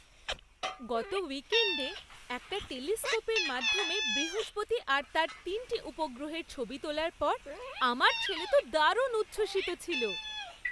গত উইকেণ্ডে একটা টেলিস্কোপের মাধ্যমে বৃহস্পতি আর তার তিনটে উপগ্রহের ছবি তোলার পর আমার ছেলে তো দারুণ উচ্ছ্বসিত ছিল।